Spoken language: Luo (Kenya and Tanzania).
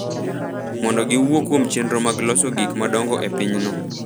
mondo giwuo kuom chenro mag loso gik ma dongo e pinyno.